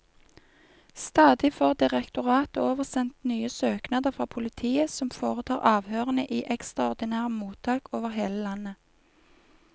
Stadig får direktoratet oversendt nye søknader fra politiet, som foretar avhørene i ekstraordinære mottak over hele landet.